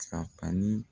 Ka ni